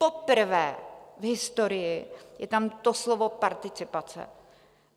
Poprvé v historii je tam to slovo participace.